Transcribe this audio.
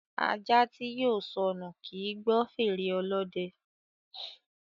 Ajá tí yóò sọnù kì í gbọ́ fèrè Ọlọ́dẹ